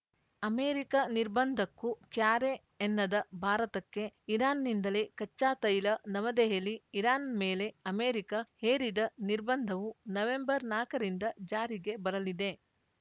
America ನಿರ್ಬಂಧಕ್ಕೂ ಕ್ಯಾರೆ ಎನ್ನದ ಭಾರತಕ್ಕೆ ಇರಾನ್‌ನಿಂದಲೇ ಕಚ್ಚಾತೈಲ ನವದೆಹಲಿ ಇರಾನ್‌ ಮೇಲೆ ಅಮೆರಿಕ ಹೇರಿದ ನಿರ್ಬಂಧವು ನವೆಂಬರ್‌ ನಾಕರಿಂದ ಜಾರಿಗೆ ಬರಲಿದೆ